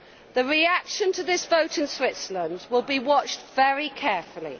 The reaction to this vote in Switzerland will be watched very carefully.